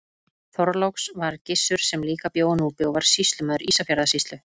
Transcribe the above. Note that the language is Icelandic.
Þorláks var Gissur sem líka bjó á Núpi og var sýslumaður Ísafjarðarsýslu.